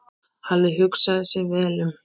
Halli hugsaði sig vel um.